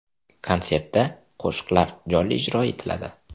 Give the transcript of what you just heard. Konsertda qo‘shiqlar jonli ijro etiladi.